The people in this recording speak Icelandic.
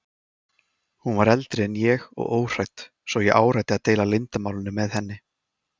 Hún var eldri en ég og óhrædd svo ég áræddi að deila leyndarmálinu með henni.